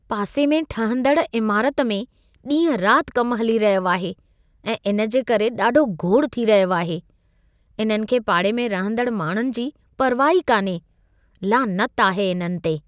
पासे में ठहंदड़ इमारत में ॾींहं रात कम हली रहियो आहे ऐं इन जे करे ॾाढो घोड़ थी रहियो आहे। इन्हनि खे पाड़े में रहंदड़ माण्हुनि जी परवाहु ई कान्हे। लानत आहे इन्हनि ते!